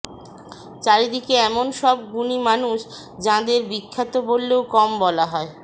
চারিদিকে এমন সব গুণী মানুষ যাঁদের বিখ্যাত বললেও কম বলা হয়